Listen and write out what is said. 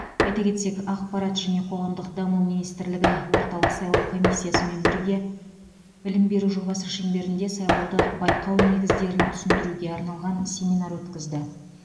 айта кетсек ақпарат және қоғамдық даму министрлігі орталық сайлау комиссиясымен бірге білім беру жобасы шеңберінде сайлауды байқау негіздерін түсіндіруге арналған семинар өткізілді